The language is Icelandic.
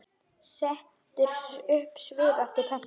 Setur upp svip eftir pöntun.